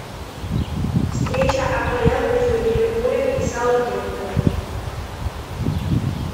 встреча апл между ливерпулем и саутгемптоном